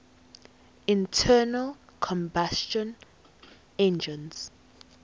internal combustion engines